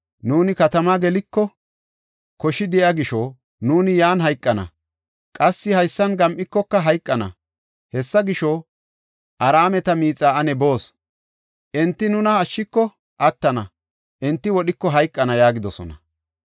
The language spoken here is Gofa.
Nuuni katama geliko, koshi de7iya gisho, nuuni yan hayqana. Qassi haysan gam7ikoka hayqana. Hessa gisho, Araameta miixa ane boos. Enti nuna ashshiko attana; enti wodhiko hayqana” yaagidosona.